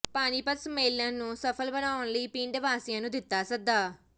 ਪਾਣੀਪਤ ਸੰਮੇਲਨ ਨੂੰ ਸਫ਼ਲ ਬਣਾਉਣ ਲਈ ਪਿੰਡ ਵਾਸੀਆਂ ਨੂੰ ਦਿੱਤਾ ਸੱਦਾ